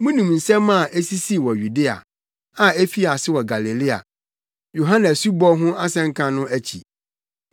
Munim nsɛm a esisii wɔ Yudea, a efii ase wɔ Galilea, Yohane asubɔ ho asɛnka no akyi.